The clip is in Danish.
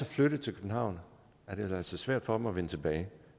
flyttet til københavn er det altså svært for dem at vende tilbage